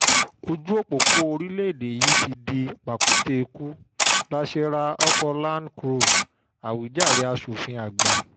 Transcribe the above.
ojú òpópó orílẹ̀ yìí ti di ti di pàkúté ikú láṣẹ ra oko land crur àwíjàre aṣòfin àgbà